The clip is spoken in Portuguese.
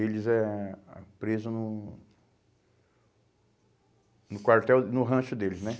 Eles é ah presos no no quartel, no rancho deles, né?